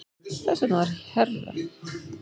Þess vegna var herra